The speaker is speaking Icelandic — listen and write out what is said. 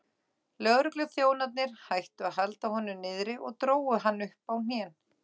Lögregluþjónarnir hættu að halda honum niðri og drógu hann upp á hnén.